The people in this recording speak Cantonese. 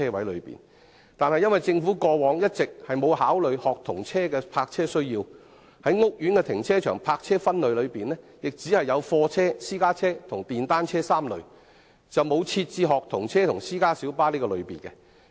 由於政府過往一直沒有考慮學童車的泊車需要，所以屋苑停車場的泊車分類只有貨車、私家車及電單車3類，而沒有學童車及私家小巴的類別。